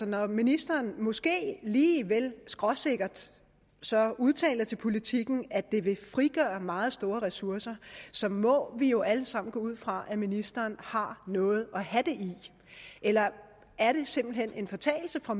når ministeren måske lige vel skråsikkert udtaler til politiken at det er vil frigøre meget store ressourcer så må vi jo alle sammen gå ud fra at ministeren har noget at have det i eller er det simpelt hen en fortalelse fra